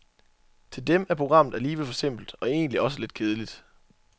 Til dem er programmet alligevel for simpelt og egentlig også lidt kedeligt.